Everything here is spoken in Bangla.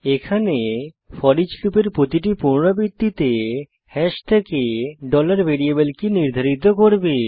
এখানে ফোরিচ লুপের প্রতিটি পুনরাবৃত্তিতে হাশ থেকে variable কী নির্ধারিত করবে